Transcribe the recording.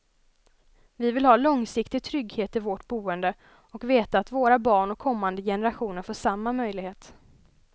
Vi vill ha långsiktig trygghet i vårt boende och veta att våra barn och kommande generationer får samma möjlighet.